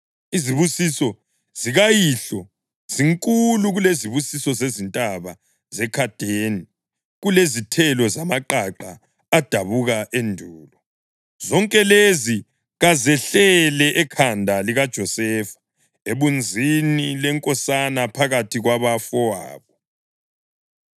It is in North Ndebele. Izibusiso zikayihlo zinkulu kulezibusiso zezintaba zekadeni, kulezithelo zamaqaqa adabuka endulo. Zonke lezi kazehlele ekhanda likaJosefa, ebunzini lenkosana phakathi kwabafowabo.